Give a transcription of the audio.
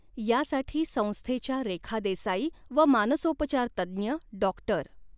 यासाठी संस्थेच्या रेखा देसाई व मानसोपचारतज्ञ डॉक्टर.